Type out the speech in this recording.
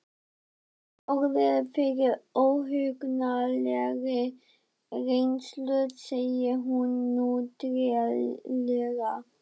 Hafði orðið fyrir óhugnanlegri reynslu, segir hún nú treglega.